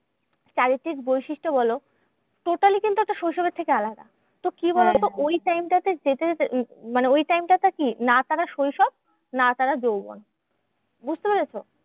চারিত্রিক বৈশিষ্ট বলো totally কিন্তু একটা শৈশবের থেকে আলাদা। তো কি বলোতো? ওই time টা তে যেতে যেতে মানে ওই time টা তে কি? না তারা শৈশব না তারা যৌবন, বুঝতে পেরেছ?